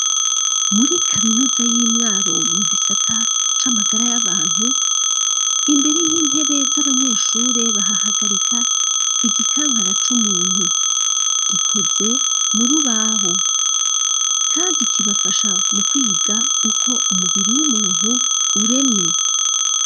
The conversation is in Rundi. Muri kaminuza y'imwaro mu gisata c'amagara y'abantu imbere y'intebe z'abanyeshure bahahagarika igikankara c'umuntu gikoze muri ubaho, kandi kibafasha mu kwiga uko umubiri w'umuntu uremye.